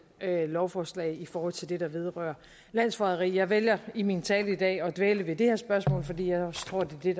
lovforslag i forhold til det der vedrører landsforræderi jeg vælger i min tale i dag at dvæle ved det her spørgsmål fordi jeg også tror at det er